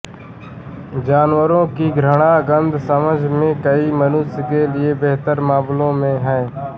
जानवरों की घ्राण गंध समझ में कई मनुष्य के लिए बेहतर मामलों में है